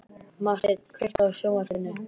Marteinn, kveiktu á sjónvarpinu.